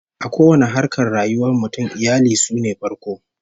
A kowanne harkar rayuwar mutum, iyali sune farko